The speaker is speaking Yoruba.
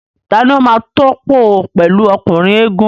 Tani ó máa tòpò pẹ̀lu ọkùnrin ègún?